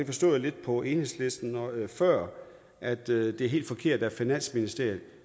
forstod lidt på enhedslisten før at det er helt forkert at finansministeriet